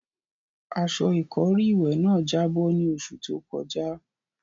Aṣọ ìkọ́rí ìwẹ̀ náà jábọ́ ní oṣù tó kọjá.